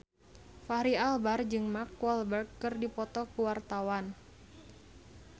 Fachri Albar jeung Mark Walberg keur dipoto ku wartawan